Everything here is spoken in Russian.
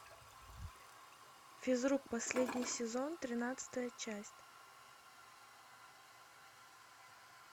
физрук последний сезон тринадцатая часть